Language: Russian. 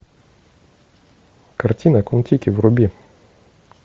картина кон тики вруби